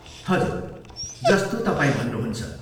हजुर, जस्तो तपाईँ भन्नुहुन्छ।